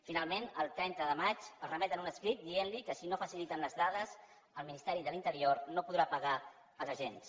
finalment el trenta de maig els remeten un escrit que diu que si no faciliten les dades el ministeri de l’interior no podrà pagar els agents